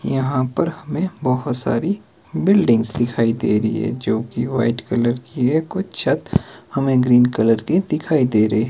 यहां पर हमें बहोत सारी बिल्डिंग दिखाई दे रही है जो की वाइट कलर की है कुछ छत हमें ग्रीन कलर के दिखाई दे रहे।